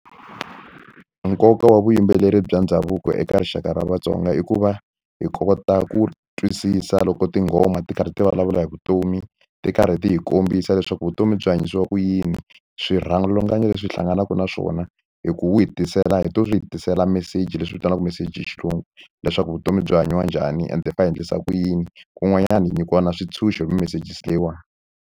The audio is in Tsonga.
Nkoka wa vuyimbeleri bya ndhavuko eka rixaka ra vatsonga i ku va hi kota ku twisisa loko tinghoma ti karhi ti vulavula hi vutomi ti karhi ti hi kombisa leswaku vutomi byi hanyisiwa ku yini swirhalanganyi leswi hi hlanganaka na swona hi ku wu hi tisela hi to swi hitisela meseji leswi vitaniwaka meseji xilungu leswaku vutomi byi hanyiwa njhani ende hi fa hi endlisa ku yini kun'wanyana hi nyikiwa na swintshuxo hi mimeseji si leyiwani.